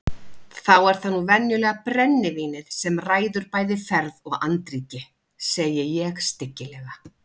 Þá er það nú venjulega brennivínið sem ræður bæði ferð og andríki, segi ég stygglega.